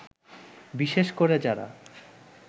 বিশেষ করে যারা